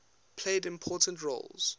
played important roles